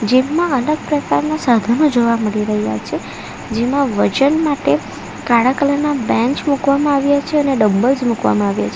Gym માં અલગ પ્રકારના સાધનો જોવા મળી રહ્યા છે જેમાં વજન માટે કાળા કલર ના બેંચ મુકવામાં આવ્યા છે અને ડમ્બલ્સ જ મુકવામાં આવ્યા છે.